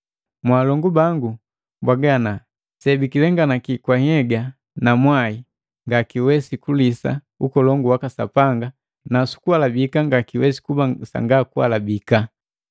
Mwalongu bangu mpwaga ana: Sebikilenganaki kwa nhyega na mwai ngakiwesi kulisa ukolongu waka Sapanga na sukuhalabika ngakiwesi kuba sanga kuhalabika.